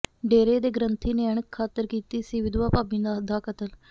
ਡੇਰੇ ਦੇ ਗੰ੍ਰਥੀ ਨੇ ਅਣਖ ਖਾਤਰ ਕੀਤਾ ਸੀ ਵਿਧਵਾ ਭਾਬੀ ਦਾ ਕਤਲ